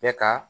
Bɛ ka